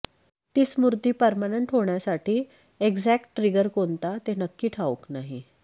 ती स्मृती पर्मनंट होण्यासाठी एक्झॅक्ट ट्रिगर कोणता ते नक्की ठाऊक नाही